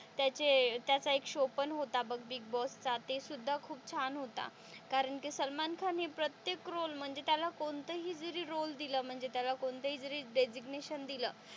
त्याचे त्याचा एक शो पण होता बघ बिग बॉस चा ते सुद्धा खूप छान होता कारण कि सलमान खान हि प्रत्येक रोल म्हणजे त्याला कोणतंही जरी रोल दिल म्हणजे त्याला कोणतंही जरी डेजिग्नेशन दिल,